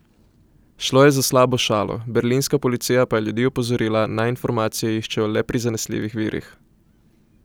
Šlo je za slabo šalo, berlinska policija pa je ljudi opozorila, naj informacije iščejo le pri zanesljivih virih.